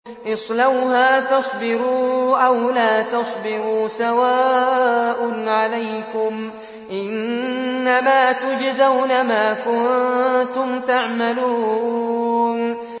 اصْلَوْهَا فَاصْبِرُوا أَوْ لَا تَصْبِرُوا سَوَاءٌ عَلَيْكُمْ ۖ إِنَّمَا تُجْزَوْنَ مَا كُنتُمْ تَعْمَلُونَ